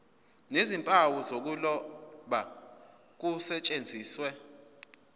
nezimpawu zokuloba kusetshenziswe